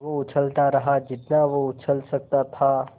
वो उछलता रहा जितना वो उछल सकता था